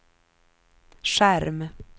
skärm